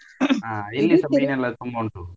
ಮೀನ್ ಎಲ್ಲ ತುಂಬ ಉಂಟು.